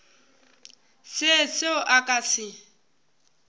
se seo a ka se